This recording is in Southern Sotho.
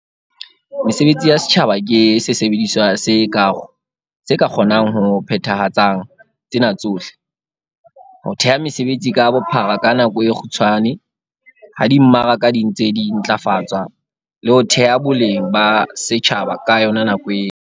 Mesebetsi ya setjhaba ke sesebediswa se ka kgonang ho phethahatsang tsena tsohle- ho theha mesebetsi ka bophara ka nako e kgutshwane ha di mmaraka di ntse di ntlafatswa, le ho theha boleng ba setjhaba ka yona nako eo.